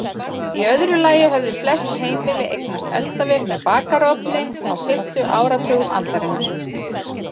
Í öðru lagi höfðu flest heimili eignast eldavél með bakarofni á fyrstu áratugum aldarinnar.